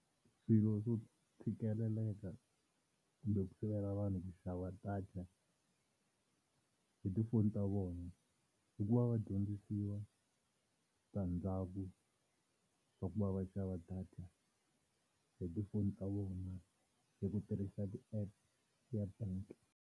Swilo swo tshikeleleka kumbe ku sivela vanhu ku xava data hi tifoni ta vona i ku va va dyondzisiwa switandzhaku swa ku va va xava data hi tifoni ta vona hi ku tirhisa ti-app ya bank.